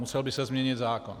Musel by se změnit zákon.